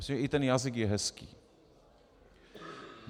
Myslím, že i ten jazyk je hezký.